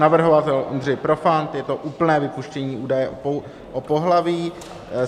Navrhovatel Ondřej Profant, je to úplné vypuštění údaje o pohlaví.